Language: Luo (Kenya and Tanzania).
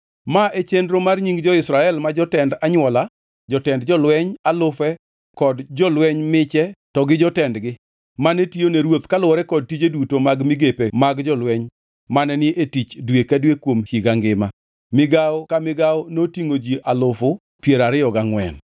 Ma e chenro mar nying jo-Israel ma jotend anywola, jotend jolweny alufe kod jolweny miche to gi jotendgi; mane tiyone ruoth kaluwore kod tije duto mag migepe mag jolweny mane ni e tich dwe ka dwe kuom higa ngima. Migawo ka migawo notingʼo ji alufu piero ariyo gangʼwen (24,000).